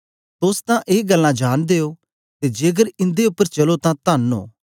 तोस तां ए गल्लां जांनदे ओ ते जेकर इन्दे उपर चलो तां तन्न ओ